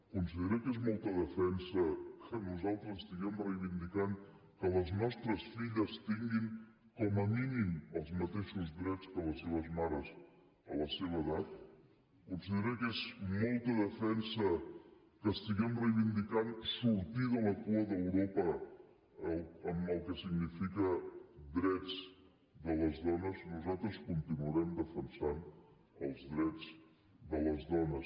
considera que és molta defensa que nosaltres estiguem reivindicant que les nostres filles tinguin com a mínim els mateixos drets que les seves mares a la seva edat considera que és molta defensa que estiguem reivindicant sortir de la cua d’europa en el que significa drets de les dones nosaltres continuarem defensant els drets de les dones